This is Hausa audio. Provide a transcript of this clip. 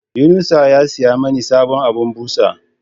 yunusa ya siyamin sabon abun busa